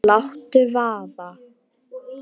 Láttu vaða